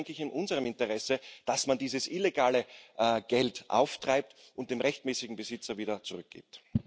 Aber es ist auch, denke ich, in unserem Interesse, dass man dieses illegale Geld auftreibt und dem rechtmäßigen Besitzer wieder zurückgibt.